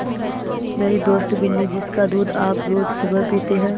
मेरी दोस्त बिन्नी जिसका दूध आप रोज़ सुबह पीते हैं